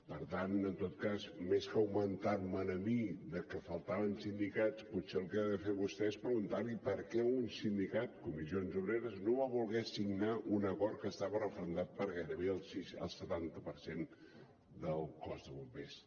per tant en tot cas més que argumentar me a mi de que faltaven sindicats potser el que ha de fer vostè és preguntar li per què un sindicat comissions obreres no va voler signar un acord que estava referendat per gairebé el setanta per cent del cos de bombers